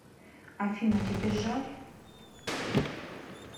афина тебе жаль